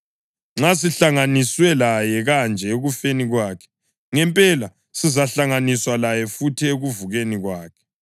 Nxa sihlanganiswe laye kanje ekufeni kwakhe, ngempela sizahlanganiswa laye futhi ekuvukeni kwakhe.